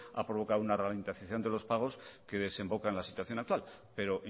ha provocado una ralentización de los pagos que desemboca en la situación actual pero